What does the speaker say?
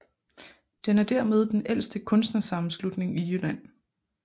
Den er dermed den ældste kunstnersammenslutning i Jylland